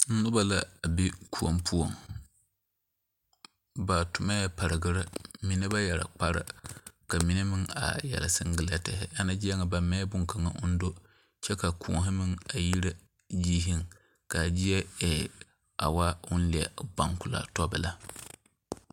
Noba la a be koɔ poɔŋ, ba toɔmɛŋ pargiri, mine ba yɛre kpare ka mine meŋ are yɛre singilɛti Ana zie ŋa ba mɛ bonkaŋa ʋʋ do kyɛ koɔ meŋ a yire ziiri ka zie e a woo ʋʋ leɛ gbankulaa tɔ belaa.